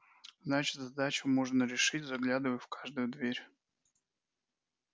значит задачу можно решить заглядывая в каждую дверь